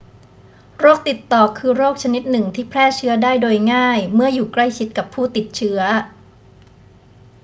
โรคติดต่อคือโรคชนิดหนึ่งที่แพร่เชื้อได้โดยง่ายเมื่ออยู่ใกล้ชิดกับผู้ติดเชื้อ